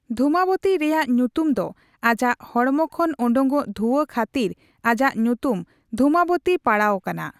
ᱫᱷᱩᱢᱟᱵᱚᱛᱤ ᱨᱮᱟᱜ ᱧᱩᱛᱩᱢ ᱫᱚ ᱟᱡᱟᱜ ᱚᱰᱢᱚ ᱠᱷᱚᱱ ᱚᱰᱳᱠᱚᱜ ᱫᱷᱩᱣᱟ. ᱠᱷᱟ.ᱛᱤᱨ ᱟᱡᱟᱜ ᱧᱩᱛᱩᱢ ᱫᱷᱩᱢᱟᱵᱚᱛᱤ ᱯᱟᱰᱟᱣ ᱠᱟᱱᱟ ᱾